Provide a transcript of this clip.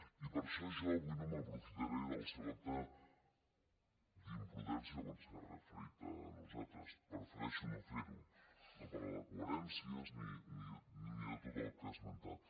i per això jo avui no m’aprofitaré del seu acte d’imprudència quan s’ha referit a nosaltres prefereixo no fer ho no parlar de coherències ni de tot el que ha esmentat